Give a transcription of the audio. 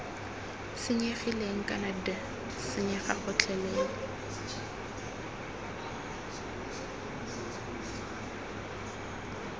senyegileng kana d senyega gotlhelele